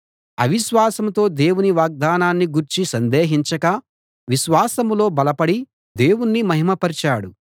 అవిశ్వాసంతో దేవుని వాగ్దానాన్ని గూర్చి సందేహించక విశ్వాసంలో బలపడి దేవుణ్ణి మహిమ పరచాడు